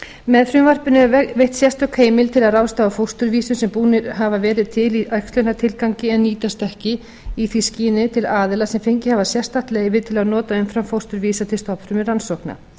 með frumvarpinu er veitt sérstök heimild til að ráðstafa fósturvísum sem búnir hafa verið til í æxlunartilgangi en nýtast ekki í því skyni til aðila sem fengið hafa sérstakt leyfi til að nota umframfósturvísa til stofnfrumurannsókna